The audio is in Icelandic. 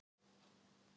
Ég veit ekki neitt.